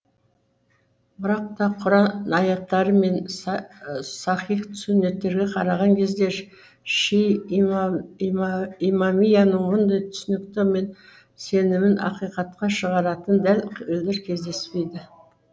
бірақ та құран аяттары мен сахих сүннеттерге қараған кезде шии имамияның мұндай түсінігі мен сенімін ақиқатқа шығаратын дәл елдер кездеспейді